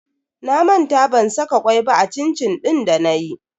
Na manta ban saka kwai ba a cin-cin din danayi.